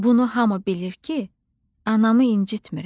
Bunu hamı bilir ki, anamı incitmirəm.